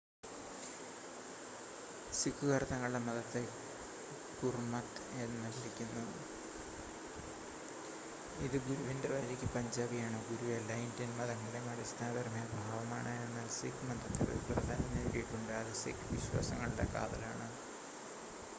"സിഖുകാർ തങ്ങളുടെ മതത്തെ ഗുർമത്ത് എന്ന് വിളിക്കുന്നു "ഇത് ഗുരുവിന്റെ വഴിക്ക്" പഞ്ചാബി ആണ്. ഗുരു എല്ലാ ഇന്ത്യൻ മതങ്ങളുടെയും അടിസ്ഥാനപരമായ ഭാവമാണ് എന്നാൽ സിഖ് മതത്തിൽ ഒരു പ്രാധാന്യം നേടിയിട്ടുണ്ട് അത് സിഖ് വിശ്വാസങ്ങളുടെ കാതലാണ്.